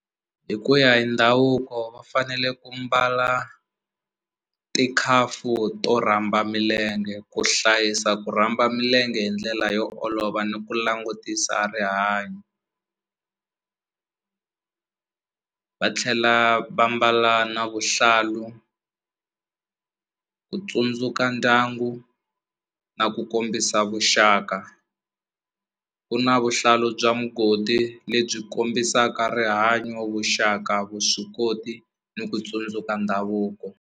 Hi ku ya hi ndhavuko va fanele ku mbala tikhafu to rhamba milenge ku hlayisa ku rhamba milenge hi ndlela yo olova ni ku langutisa rihanyo va tlhela va mbala na vuhlalu ku tsundzuka ndyangu na ku kombisa vuxaka ku na vuhlalu bya mugodi lebyi kombisaka rihanyo vuxaka vuswikoti ni ku tsundzuka ndhavuko.